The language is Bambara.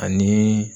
Ani